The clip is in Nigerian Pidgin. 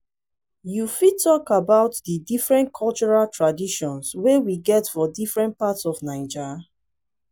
you fit talk about di different cultural traditions wey we get for different parts of naija?